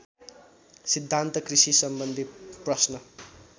सिद्धान्त कृषिसम्बन्धी प्रश्न